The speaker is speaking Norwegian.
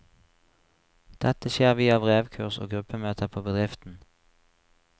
Dette skjer via brevkurs og gruppemøter på bedriften.